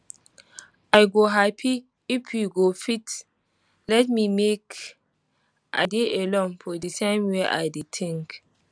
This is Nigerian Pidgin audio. i go happy if you go fit let me make i dey alone for di time wey i dey think